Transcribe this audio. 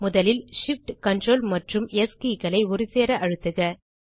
முதலில் shift ctrl மற்றும் S keyகளை ஒருசேர அழுத்துக